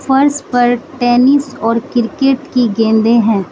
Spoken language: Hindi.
फर्स्ट पर टेनिस और क्रिकेट की गंदे हैं।